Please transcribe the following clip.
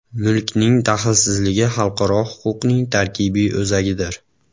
Mulkning daxlsizligi xalqaro huquqning tarkibiy o‘zagidir.